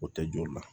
O tɛ joli la